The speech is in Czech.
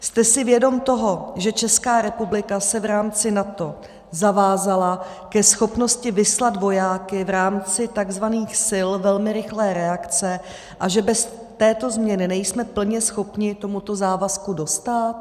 Jste si vědom toho, že Česká republika se v rámci NATO zavázala ke schopnosti vyslat vojáky v rámci tzv. sil velmi rychlé reakce a že bez této změny nejsme plně schopni tomuto závazku dostát?